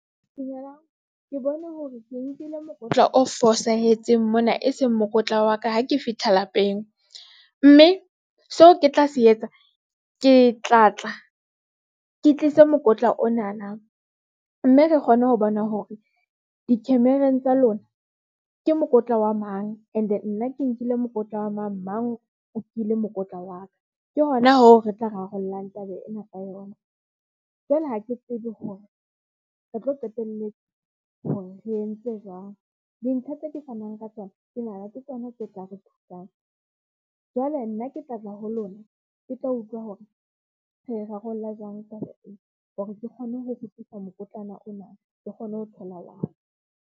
Dumelang ke bone hore ke nkile mokotla o fosahetseng mona, e seng mokotla wa ka ha ke fihla lapeng mme seo ke tla se etsa ke tla tla ke tlise mokotla ona na, mme re kgone ho bona hore di-camera-ng tsa lona ke nkile mokotla wa mang and nna ke nkile mokotla wa mang mang, o kile mokotla wa ka ke hona ho re tla rarollang taba ena ka yona. Jwale ha ke tsebe hore re tlo qetelletse hore re entse jwang dintlha tseo ke fanang ka tsona. Ke nahana ke tsona tse tla re thusang. Jwale nna ke tla tla ho lona, ke tlo utlwa hore re rarolla jwang kapa eng hore ke kgone ho kgutlisa mokotlana ona, ke kgone ho thola wa ka.